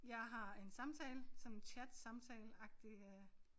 Jeg har en samtale sådan chat samtale agtig øh